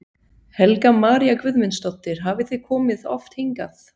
Helga María Guðmundsdóttir: Hafið þið komið oft hingað?